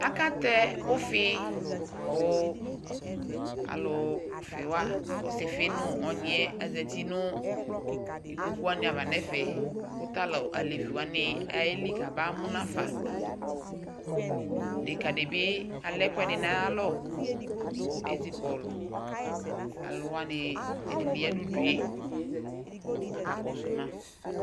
Akatɛ ʊfɩkʊ kʊ asɩfɩ nʊ ɔnyɩ zatɩ nʊ ikpokʊwanɩ ava nʊ ɛfɛ kʊ tʊ alevɩ wanɩ ayelɩ kamamʊnafa deka dɩbɩ alɛ ɛkʊɛdɩ nʊ ayalɔ kʊ ezɩ kɔlʊ alʊwanɩ ɛdɩnɩ yanʊ ʊdʊe kʊ aka kɔsʊ ma